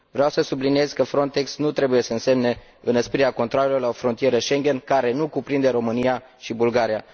Vreau să subliniez că FRONTEX nu trebuie să însemne înăsprirea controalelor la o frontieră Schengen care nu cuprinde România și Bulgaria.